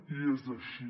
i és així